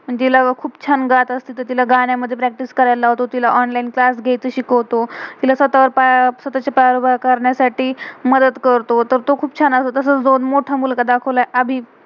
आणि तिला खुप छान गात असते, तर तिला गान्यामधे प्रैक्टिस practice करायला लावतो. तिला ऑनलाइन online क्लास class घयाचं शिकवतो. तिला स्वथावर~स्वतहाच्या पायावर उभा करण्यासाठी मदद करतो. तर तो खुप छान असतो तसच, मोठा मुलगा दाखवलाय अभी,